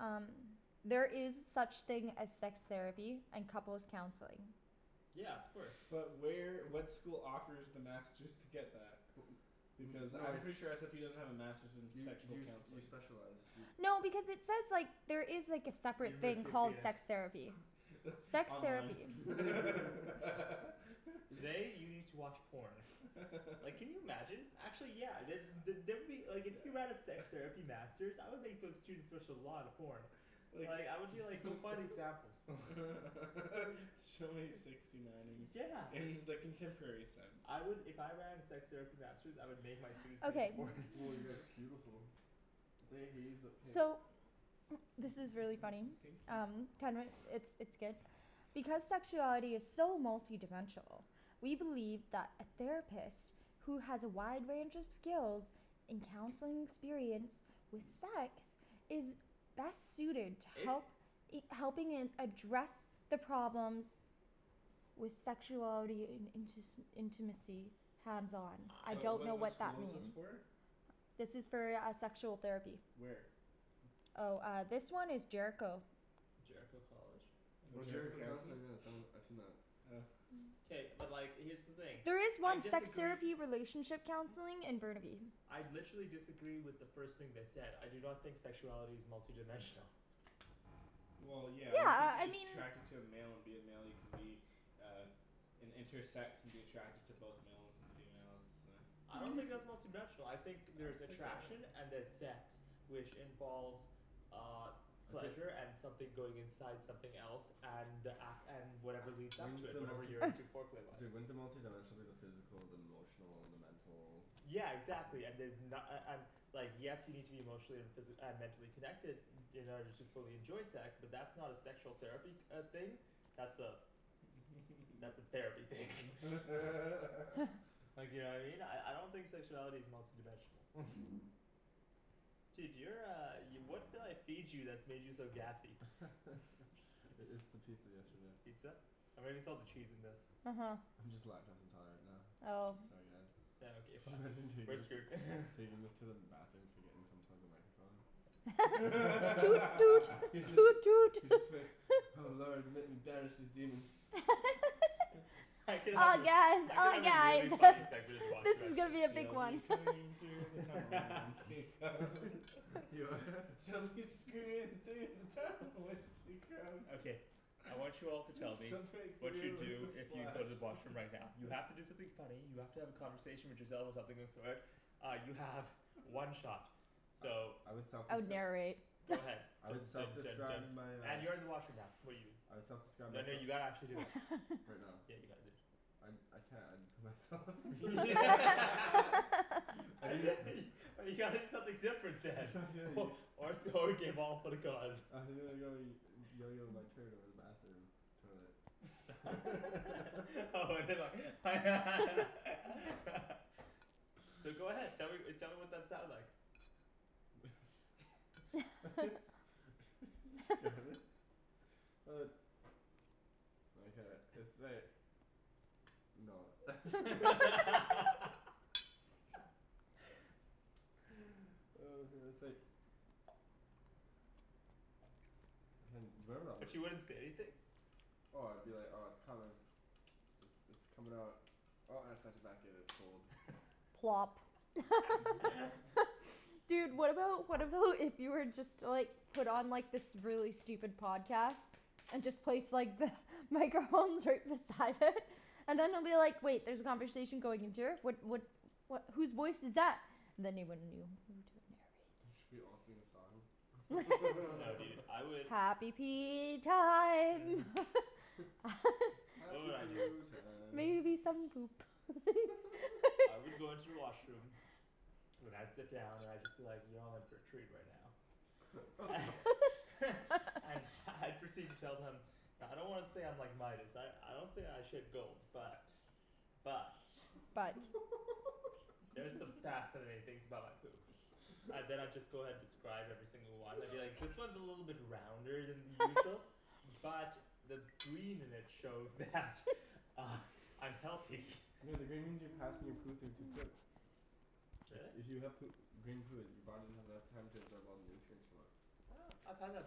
Um There is such thing as sex therapy and couples' counseling. Yeah, of course. But where, what school offers the masters to get that? Because No, I'm it's pretty sure SFU doesn't have a masters in You sexual you you counseling. specialize, you No, because it says like, there is like a separate thing University of called penis. sex therapy. Sex Online. therapy. Today you need to watch porn. Like can you imagine? Actually yeah, the- the- there would be, like if you have a sex Yeah. therapy masters, I would make those students watch a lot of porn. Like Like I would be like, go find examples. Show me sixty nineing Yeah. in the contemporary sense. I would, if I ran a sex therapy masters, I would make my students make a Okay. porn. Woah you guys, that's beautiful. pink. So this is really funny. Pink you. Um it's it's good. Because sexuality is so multidimensional we believe that a therapist who has a wide range of skills in counseling experience with sex is best suited to It's help helping in address the problems with sexuality in intis- intimacy. Hands on. I I What don't what know what what that school is this mean. for? This is for uh sexual therapy. Where? Oh uh this one is Jericho. Jericho College? No, Oh Jericho Jericho Counseling. Counseling, yeah it's done, I've seen that. Oh. K, but like here's the thing. There is I one sex disagree therapy relationship counseling in Burnaby. I literally disagree with the first thing they said. I do not think sexuality is multidimensional. Well yeah, Yeah you could uh be I mean attracted to a male and be a male, you can be uh an intersex and be attracted to both males and females, uh I don't think that's multidimensional. I think there's attraction and there's sex. Which involves uh Okay pleasure and something going inside something else, and ac- and whatever leads up to Wouldn't it, the whatever multi- you're into foreplay-wise. Dude, wouldn't the multidimensional be the physical, the emotional, and the mental Yeah exactly and there's na- a- an- Like yes you need to be emotionally and physi- uh mentally connected in order to fully enjoy sex, but that's not a sexual therapy uh thing. That's a that's a therapy thing. Like you know what I mean? I I don't think sexuality is multi dimensional. Dude you're uh, y- what did I feed you that made you so gassy? I- it's the pizza yesterday. Pizza? Or maybe it's all the cheese in this. Uh huh. I'm just lactose intolerant now. Oh. Sorry guys. Yeah okay fine, Imagine taking taking this to the bathroom forgetting to unplug the microphone. Toot toot toot toot. Just be like "Oh lord let me banish these demons." I could help Oh you. yes I could oh have a yeah really it's funny segment in the this washroom is actually. gonna be a big She'll be one. coming through the tunnel when she comes. She'll be screaming through the tunnel when she comes. Okay. I want you all to tell me Some break what you'd through do with a if you splash. go to the washroom right now. You have to do something funny, you have to have a conversation with yourself or something of the sort Uh you have one shot. So I would I would self-descri- narrate. Go ahead. I would Dun dun dun self-describe dun my uh and you're in the washroom now I would self-describe Then myse- you gotta actually do it. Right now? Yeah you gotta do it. I I can't, I'd put myself You gotta do something different then. Or so you gave all for the cause. my turn over the bathroom. Toilet. Oh but they're like So go ahead. Tell me tell me what that sounds like. It's Uh No. Hey, do you remember that But you one wouldn't say anything? Oh I'd be like, oh it's coming. It's it's it's coming out. Oh I have such a Plop. Dude, what about, what about if you were just to like put on this really stupid podcast? And just place like the microphones right beside it. And then they'll be like "Wait there's a conversation going into here, what what" "what, whose voice is that?" And then they wouldn't know. Should we all sing a song? No dude, I would Happy pee time. You know Happy what I'd do poo time. Maybe some poop. I would go into the washroom then I'd sit down and I'd just be like, "Y'all in for a treat right now." And I'd proceed to tell them "I don't wanna say I'm like Midas, I I don't say I shit gold. But, but, But there's some fascinating things about my poop. And then I'd just go ahead describe every single one, I'd be like "This one is a little bit rounder than the usual." "But the green in it shows that I'm healthy." No the green means you're passing your poo through too quick. Really? If you have poo- green poo, your body doesn't have enough time to absorb all the nutrients from it. Huh, I've had that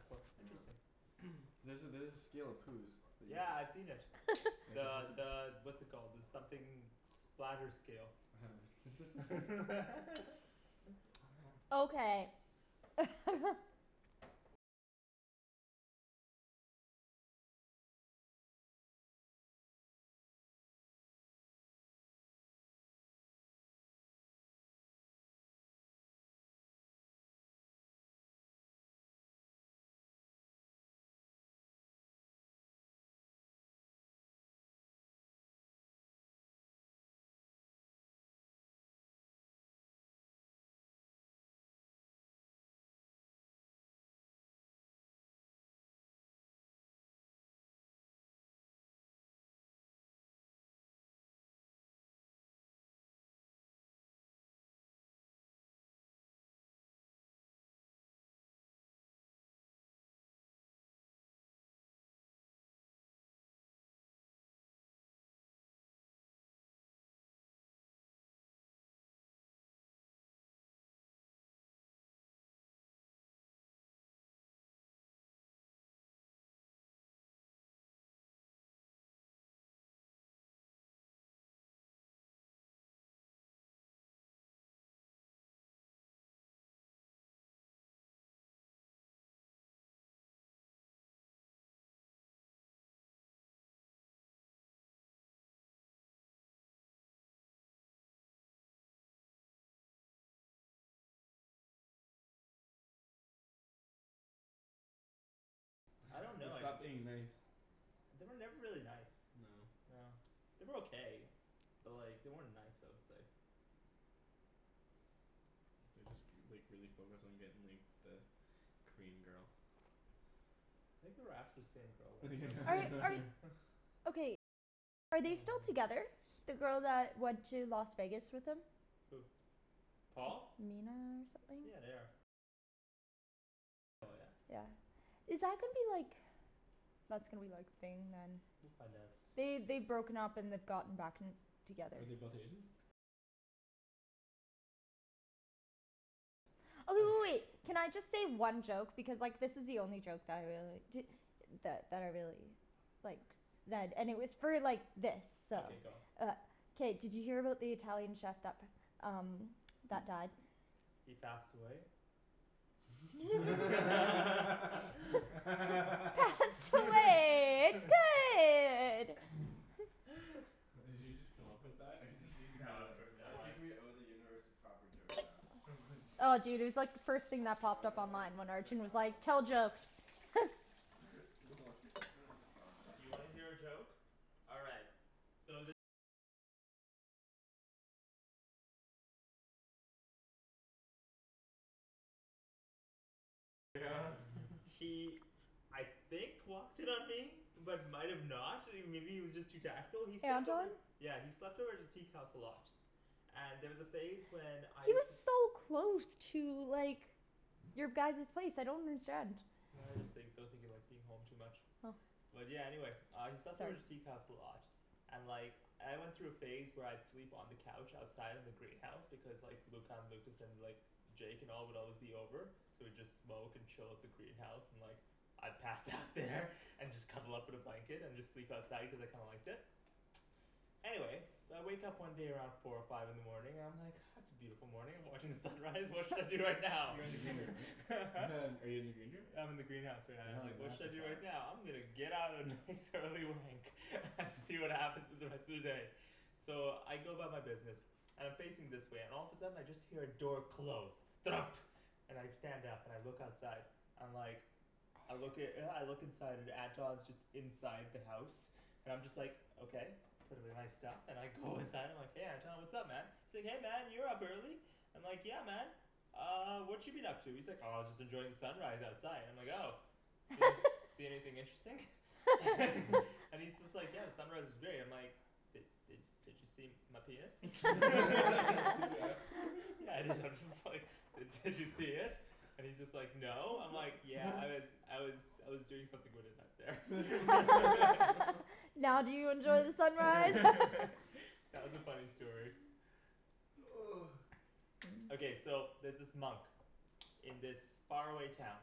before. Yeah. Interesting. There's a there's a scale of poos that you Yeah, I've seen c- it. The the what's it called, the something splatter scale. Okay. I don't They know, I'd stopped being nice. They were never really nice. No. No. They were okay. But like they weren't nice I would say. They just k- like really focused on getting like the Korean girl. Think they were after the same girl at one point. Are they still together? The girl that went to Las Vegas with them? Who? Paul? Mina or something? Yeah, they are. Yeah. Is that gonna be like That's gonna be like thing then. We'll find out. They, they'd broken up and they'd gotten back and together. Are they both Asian? Oh w- w- wait. Can I just say one joke? Because like this is the only joke that I really, di- that that I really like zed, and it was for like this, so Okay go. Uh K, did you hear about the Italian chef that p- um that died? He passed away? Pasta way. It's good! Did you just come up with that or did you just No, I've know heard that I one. think we owe the universe a proper joke now. Oh dude, it was like the first thing that Dude I'm popped up gonna like, online when Arjan was defile like, my "Tell jokes." You know what? Defile mine. You wanna hear a joke? All right. He I think walked in on me. But might have not. I mean maybe he was just too tactful. He slept Anton? over Yeah, he slept over at the teak house a lot. And there was a phase when I He used was to so close to like your guys's place, I don't understand. I just think, I don't think he liked being home too much. Oh. But yeah, anyway. He slept over at the teak house a lot. And like I went through a phase where I'd sleep on the couch outside in the greenhouse, because like Luca and Lucas and like Jake and all would always be over. So we'd just smoke and chill at the greenhouse, and like I'd pass out there and just cuddle up in a blanket and just sleep outside cuz I kinda liked it. Anyway So I wake up one day around four or five in the morning, and I'm like "Ah it's a beautiful morning, I'm watching the sunrise, what should I do right now?" You're in the green room, right? Are you in the green room? I'm in the greenhouse right now. I'm Have a like "What should master I do fap. right now? I'm gonna get out a nice early wank and see what happens in the rest of the day." So I go about my business. And I'm facing this way, and all of a sudden I just hear a door close. Thunk. And I stand up and I look outside. I'm like I look i- I look inside, and Anton's just inside the house. I'm just like, okay. Put away my stuff and I go inside, I'm like "Hey Anton, what's up man?" Say "Hey man, you're up early." I'm like, "Yeah man." "Uh what you been up to?" He's like "Oh just enjoying the sunrise outside." I'm like "Oh." "See anyth- see anything interesting?" And he's just like, "Yeah, the sunrise was great." And I'm like "Did did did you see my penis?" Did you ask "Yeah I did." I'm just like "Did did you see it?" And he's just like "No." I'm like "Yeah, I was I was I was doing something with it out there." Now do you enjoy the sunrise? That was a funny story. Okay, so there's this monk in this far away town.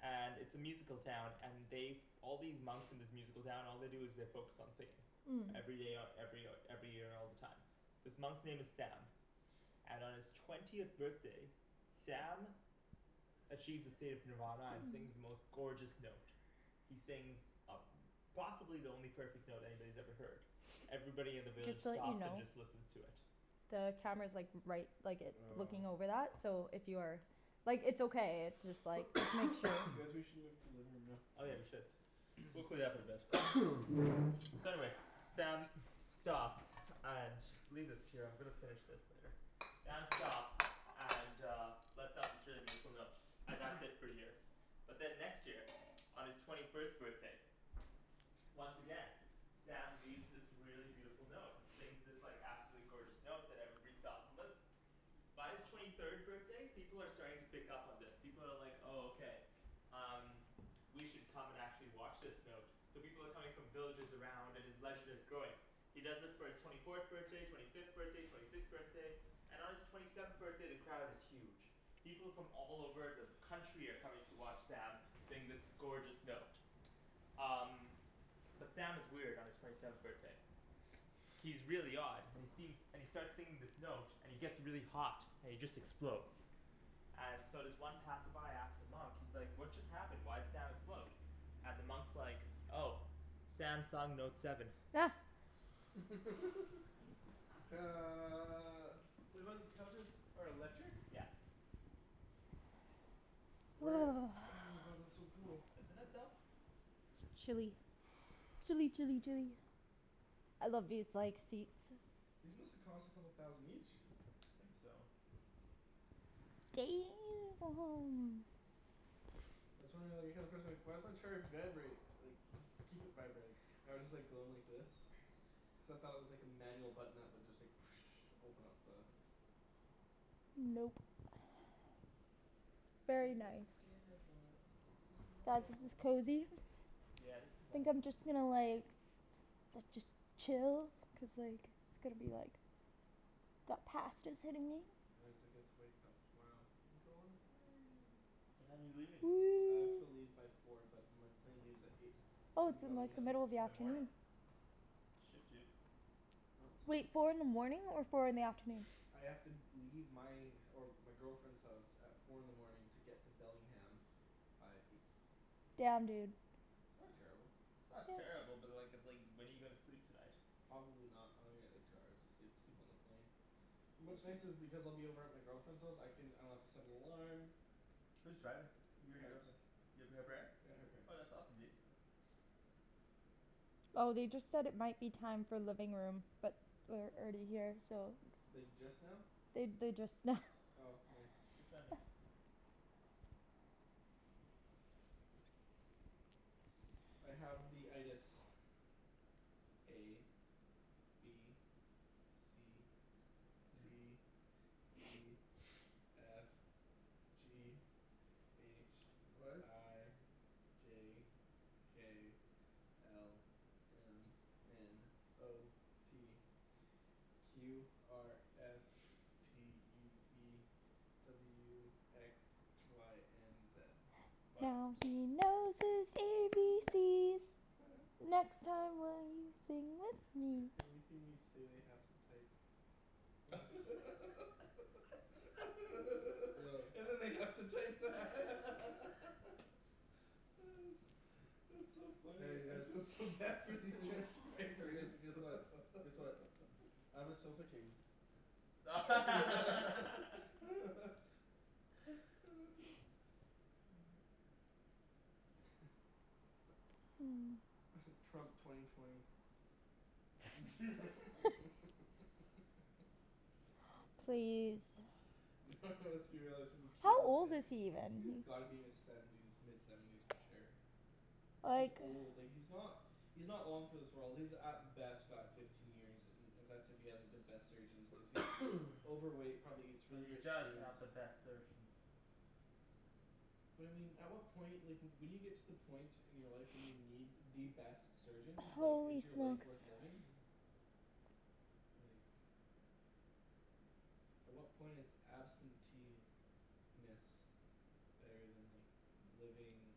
And it's a musical town, and they've All these monks in this musical town, all they do is they focus on singing. Mmm. Every day, o- every o- every year all the time. This monk's name is Sam. And on his twentieth birthday Sam achieves a state of nirvana and sings the most gorgeous note. He sings a- possibly the only perfect note anybody's ever heard. Everybody in the village Just to let you stops and know just listens to it. the camera's like right, like it, Oh. looking over that, so if you are Like it's okay, it's just like Guys we should move to the living room now. Oh yeah we should. We'll clean it up eventually. So anyway. Sam stops. And, leave this here, I'm gonna finish this later. Sam stops and uh And that's it for a year. But then next year, on his twenty first birthday once again Sam leaves this really beautiful note, and sings this like absolutely gorgeous note that everybody stops and listens. By his twenty third birthday, people are starting to pick up on this. People are like "Oh okay, um, we should come and actually watch this note." So people are coming from villages around, and his legend is growing. He does this for his twenty fourth birthday, twenty fifth birthday, twenty sixth birthday. And on his twenty seventh birthday the crowd is huge. People from all over the country are coming to watch Sam sing this gorgeous note. Um But Sam is weird on his twenty seventh birthday. He's really odd, and he seems, and he starts singing this note, and he gets really hot, and he just explodes. And so this one passerby asks the monk, he's like "What just happened? Why'd Sam explode?" And the monk's like, "Oh. Sam sung note seven." these couches are electric? Yeah. Where, oh my god, that's so cool. Isn't it though? It's chilly. Chilly chilly chilly. I love these like seats. These must have cost a couple thousand each. I think so. why does my chair vibrate, like just keep it vibrating. I was just like going like this. except I thought it was like a manual button that would just like open up the Nope. It's He very was a nice. skater boy, I said see you Guys, later this is boy. cozy. Yeah, this is Think nice. I'm just gonna like da- just chill. Cuz like, it's gonna be like That pasta's hitting me. get to wake up tomorrow and go on a plane. What time are you leaving? I have to leave by four but my plane leaves at eight. Oh From it's in like the Bellingham. middle of the In the morning? afternoon. Shit dude. No, it's fine Wait, dude. four in the morning or four in the afternoon? I have to leave my, or my girlfriend's house at four in the morning to get to Bellingham by eight. Damn, dude. Not terrible. It's not terrible, but like, it's like when are you gonna sleep tonight? Probably not. I'm gonna get like two hours of sleep. Sleep on the plane. What's What's nice this? is because I'll be over at my girlfriend's house, I can, I don't have to set an alarm. Who's driving? You or your Parents. girlfriend? You up at her parents'? Yeah, her parents. Oh that's awesome dude. Oh they just said it might be time for living room, but we're already here, so Like just now? They they, just now. Oh nice. Good timing. I have the A. B. C. D. E. F. G. H. What? I. J. K. L. M. N. O. P. Q R S. T U V. W X. Y and Z. What? Now he knows his A B C's. Next time will you sing with me? Everything we say they have to type. Yo And then they have to type that. That's that's so funny. Hey you I feel guys. so bad for these You transcribers. guys. Guess what, guess what. I'm a sofa king. Mmm. Trump twenty twenty. Please. No let's be realistic, it's gonna How be Caitlyn old is Jenner. he even? He's gotta be in his seventies, mid seventies for sure. He's Like old, like he's not he's not long for this world. He's at best got fifteen years, and that's if he has the best surgeons, cuz he's overweight, probably eats But really he rich does foods. have the best surgeons. But I mean, at what point, like when you get to the point in your life when you need the best surgeons, like is Holy your life smokes. worth living? Like At what point is absentee - ness better than like living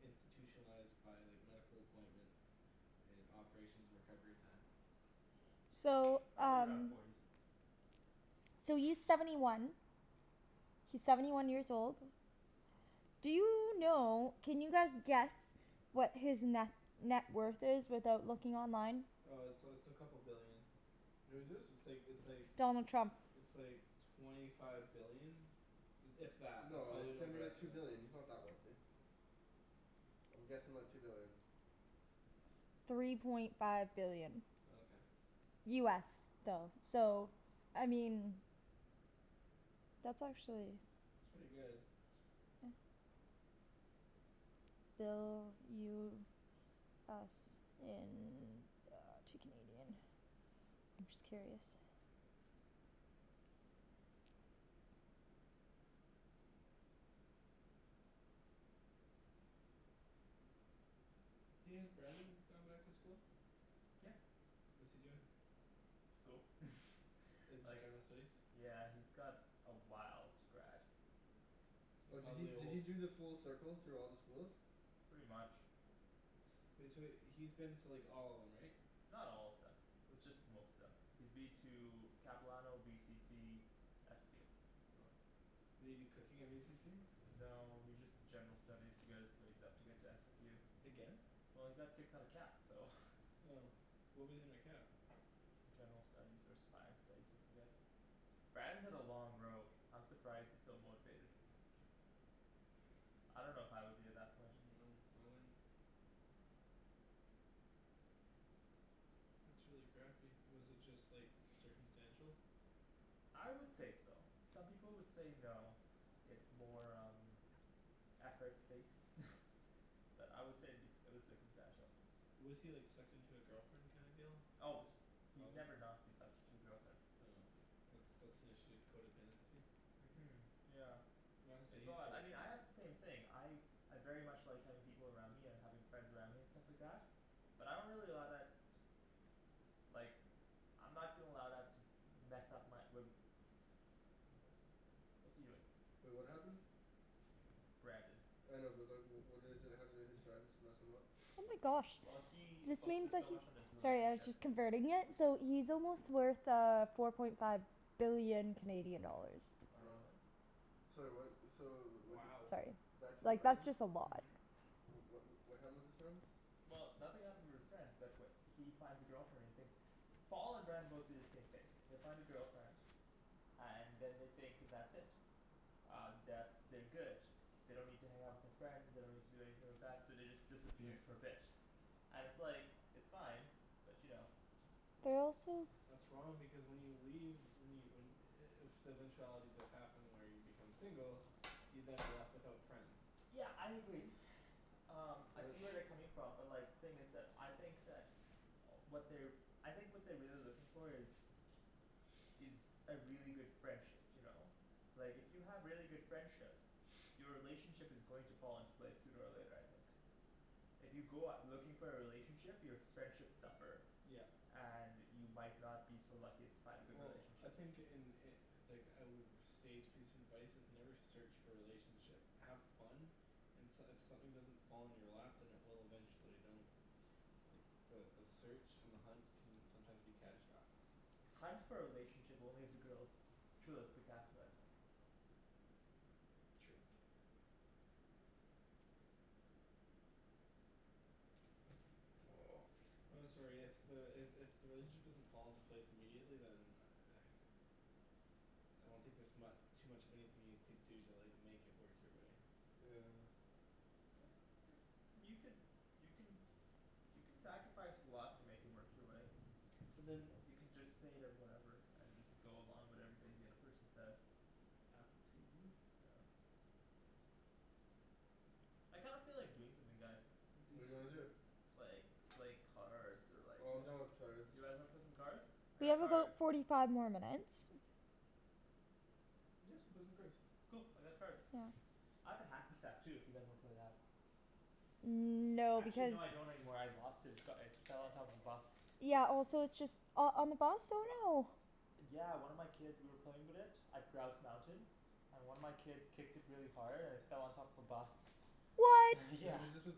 institutionalized by like medical appointments and operations and recovery time? So Probably around um forty. So he's seventy one. He's seventy one years old. Do you know, can you guys guess what his ne- net worth is without looking online? Uh it's uh it's a couple billion. Who's this? It's like, it's like Donald Trump. it's like twenty five billion. If that. That's No, probably it's an gotta be like two overestimate. billion, he's not that wealthy. I'm guessing like two billion. Three point five billion. Oh okay. US though. So I mean that's actually It's pretty good. Bill US in uh to Canadian. I'm just curious. Hey, has Brandon gone back to school? Yeah. What's he doing? School. Like just Like general studies? Yeah he's got a while to grad. And Oh did he probably a did he whole do the full circle through all the schools? Pretty much. Wait, so he's been to like all of them, right? Not all of them. Just most of them. He's been to Capilano, VCC SFU Did he do cooking at VCC? No he just did general studies to get his grades up to get to SFU Again? Well he got kicked out of Cap so. Oh. What was he in at Cap? General studies or science studies, I forget. Brandon's had a long road. I'm surprised he's still motivated. I don't know if I would be at that point. No, I wouldn't. That's really crappy. Was it just like circumstantial? I would say so. Some people would say no. It's more um effort based. But I would say it'd be, it was circumstantial. Was he like sucked into a girlfriend kind of deal? Always. He's Always? never not been sucked into a girlfriend. Oh. That's that's an issue, codependency. Mhm yeah. It's all that, I mean I codependent. had the same thing, I I very much like having people around me and having friends around me and stuff like that. But I don't really allow that like I'm not gonna allow that to mess up my, wh- What's he doing? Wait, what happened? Brandon. I know but like, wh- what is it, how did his friends mess him up? Oh my gosh. Well he This means focuses that so he's much on his Sorry I was relationship, just yeah. converting it, so he's almost worth uh four point five billion Canadian dollars. Oh really? Sorry what, so wh- y- Sorry. Back to the Like that's Brandon? just a lot. What wh- what happened with his friends? Well, nothing happened with his friends, but wh- he finds a girlfriend, he thinks Paul and Brandon both do the same thing. They find a girlfriend. And then they think that's it. Um, that's, they're good. They don't need to hang out with their friends, they don't need to do anything like that, so they just disappear for a bit. And it's like, it's fine, but you know. They're also That's wrong because when you leave, when you when i- if the eventuality does happen where you become single you then are left without friends. Yeah I agree. Um I But see where they're coming from but like, the thing is that, I think that what they're I think what they're really looking for is is a really good friendship, you know? Like if you have really good friendships your relationship is going to fall into place sooner or later, I think. If you go out looking for a relationship, your s- friendships suffer. Yep. And you might not be so lucky as to find a good Well I relationship. think in i- like a w- sage piece of advice, is never search for a relationship. Have fun and s- if something doesn't fall in your lap, then it will eventually. Don't like, the the search and the hunt can sometimes be catastrophic. Hunt for a relationship only if the girl's truly spectacular, I think. True. I'm sorry, if the, i- if the relationship doesn't fall into place immediately, then I don't think there's mu- too much of anything you could do to like make it work your way. Yeah. You could, you can you can sacrifice a lot to make it work your way. But then You can just say that whatever, and just go along with everything the other person says. Apple TV Yeah. I kind of feel like doing something, guys. I do What do you wanna too. do? Like, like cards or like, Oh I'm yes done with cards. You guys wanna play some cards? We have about forty five more minutes. Yeah, let's go play some cards. Cool, I got cards. I have a hacky sack too if you guys wanna play that. Mmm no, Actually because no, I don't anymore, I lost it. It's got, it fell on top of a bus. Yeah also it's just, oh on the bus? Oh no. Yeah one of my kids, we were playing with it at Grouse Mountain. And one of my kids kicked it really hard and it fell on top of a bus. What? Wait, Yeah. was this with